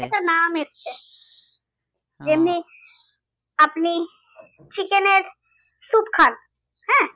এটা নাম এসছে আপনি chicken এর স্যুপ খান আঁ